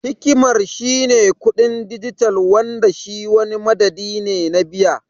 Hikimar shi ne kuɗin dijital Wanda shi wani madadi ne na biya.